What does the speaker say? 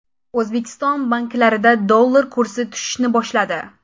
O‘zbekiston banklarida dollar kursi tushishni boshladi.